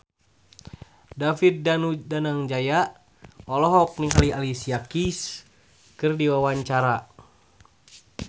David Danu Danangjaya olohok ningali Alicia Keys keur diwawancara